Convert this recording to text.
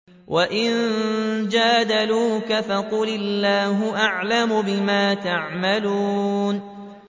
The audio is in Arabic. وَإِن جَادَلُوكَ فَقُلِ اللَّهُ أَعْلَمُ بِمَا تَعْمَلُونَ